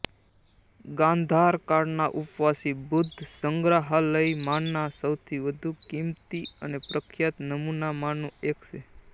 ગાંધાર કાળના ઉપવાસી બુદ્ધ સંગ્રહાલયમાંના સૌથી વધુ કિંમતી અને પ્રખ્યાત નમૂનામાંનું એક છે